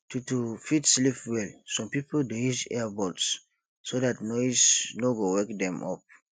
to to fit sleep well some pipo dey use ear buds so dat noise no go wake dem up